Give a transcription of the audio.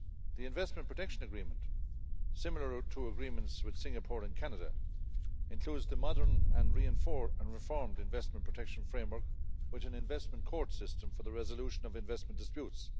The Investment Protection Agreement, similar to agreements with Singapore and Canada, includes the modern and reformed investment protection framework with an investment court system for the resolution of investment disputes.